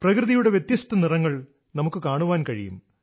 പ്രകൃതിയുടെ വ്യത്യസ്ത നിറങ്ങൾ നമുക്ക് കാണാൻ കഴിയും